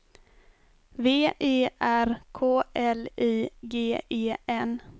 V E R K L I G E N